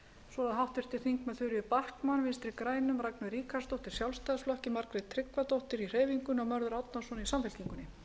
svo eru háttvirtir þingmenn þuríður backman vinstri grænum ragnheiður ríkharðsdóttir sjálfstæðisflokki margrét tryggvadóttir í hreyfingunni og mörður árnason í samfylkingunni